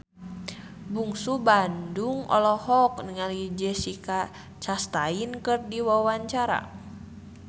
Bungsu Bandung olohok ningali Jessica Chastain keur diwawancara